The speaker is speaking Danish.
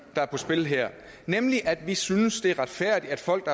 der er på spil her nemlig at vi synes det er retfærdigt at folk